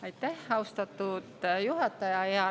Aitäh, austatud juhataja!